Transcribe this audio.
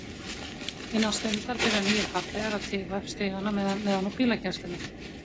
Innan stundar byrja nýir farþegar að tifa upp stigana neðan úr bílageymslunni.